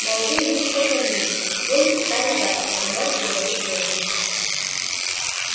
молодые люди поклонились сели и стали ждать пока мэр заговорит первым